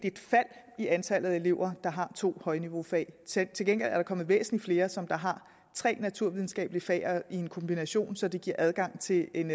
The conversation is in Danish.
et fald i antallet af elever der har to højniveaufag til til gengæld er der kommet væsentlig flere som har tre naturvidenskabelige fag i en kombination så det giver adgang til en